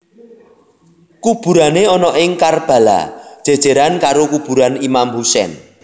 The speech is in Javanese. Kuburané ana ing Karbala jèjèran karo kuburan Imam Hussein